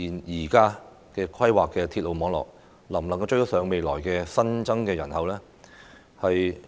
現在規劃的鐵路網絡究竟能否應付未來的新增人口呢？